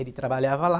Ele trabalhava lá.